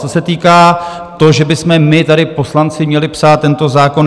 Co se týká toho, že bychom my tady, poslanci, měli psát tento zákon.